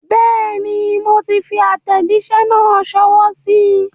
Bẹ́ẹ̀ni, moti fi àtẹ̀jísẹ́ náà sọwọ́ síí.